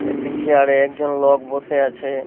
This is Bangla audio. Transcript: একটা চেয়ার - এ একজন লোক বসে আছে--